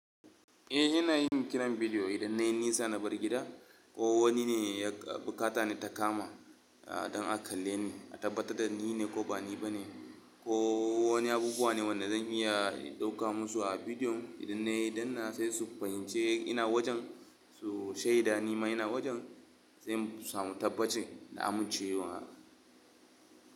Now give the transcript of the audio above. Eh ina yin kiran bidiyo idan na yi nisa na bar gida ko wani ne ya bukata ni ta kama a don a kalle ni a tabbatar da ni ne ko ba ni ba ne, ko wani abubuwa ne wanda zan iya ɗauka musu a bidiyon idan na yi danna sai su fahimci ina wajen su shaida ni ma ina wajen sai mu samu tabbacin da a mincewa.